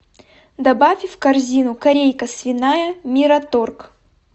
добавь в корзину корейка свиная мираторг